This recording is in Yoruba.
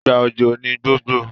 ìgbà òjò ní gbogbo